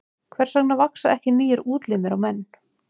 Hvers vegna vaxa ekki nýir útlimir á menn?